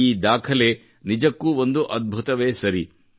ಈ ದಾಖಲೆ ನಿಜಕ್ಕೂ ಒಂದು ಅದ್ಭುತವೇ ಸರಿ